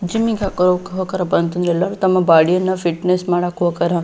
Gym ಯಾಕ ಹೋಕರ ಅಪ್ಪಾ ಅಂತಂದ್ರ ಎಲ್ಲರು ತಮ್ಮ ಬೋಡಿಯನ್ನ ಫಿಟ್ನೆಸ್ ಮಾಡಕ್ ಹೋಕರ.